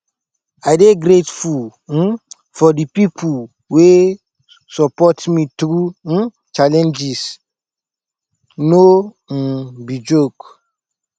i dey grateful um for di pipo wey support me through um challenges no um be joke